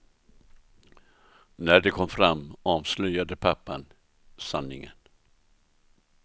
När de kom fram avslöjade pappan sanningen.